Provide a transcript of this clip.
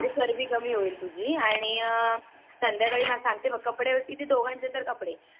म्हणजे चरबी कमी होईल तुझी आणि सांध्याकाळीला सांगते मग कपडे किती दोघांचे तर कपडे